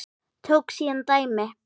Tók síðan dæmi